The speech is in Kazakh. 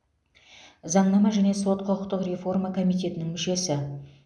заңнама және сот құқықтық реформа комитетінің мүшесі